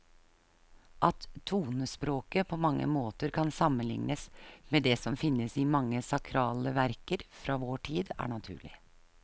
At tonespråket på mange måter kan sammenlignes med det som finnes i mange sakrale verker fra vår tid, er naturlig.